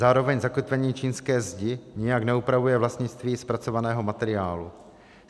Zároveň zakotvení čínské zdi nijak neupravuje vlastnictví zpracovaného materiálu.